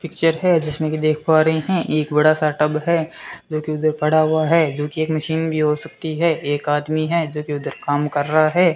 Picture है जिसमें की देख पा रहे हैं एक बड़ा सा टब है लेकिन उधर पड़ा हुआ है जोकि एक मशीन भी हो सकती है एक आदमी है जोकि उधर काम कर रहा है।